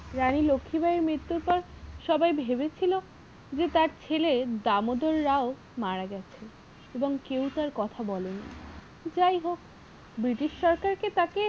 রানী লক্ষীবাঈ এর মৃত্যুর পর সবাই ভেবেছিলো যে তার ছেলে দামোদর রাও মারা গেছেন এবং কেউ তার কথা বলেনি যাই হোক british সরকারকে তাকে